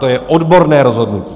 To je odborné rozhodnutí.